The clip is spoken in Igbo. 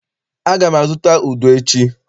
Aga m azụta udu echi.